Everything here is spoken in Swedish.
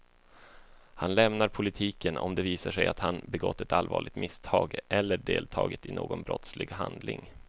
Han lämnar politiken om det visar sig att han begått ett allvarligt misstag eller deltagit i någon brottslig handling.